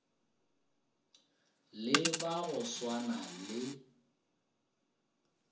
le ba go swana le